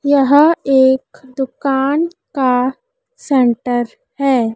यह एक दुकान का सेंटर है।